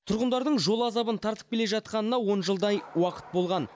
тұрғындардың жол азабын тартып келе жатқанына он жылдай уақыт болған